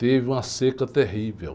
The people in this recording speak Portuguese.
Teve uma seca terrível.